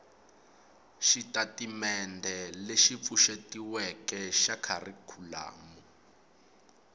xitatimendhe lexi pfuxetiweke xa kharikhulamu